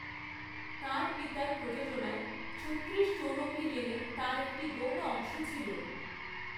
তাঁর পিতার প্রযোজনায় ছত্তিরিশ চৌরঙ্গী লেনে তার একটি গৌণ অংশ ছিল।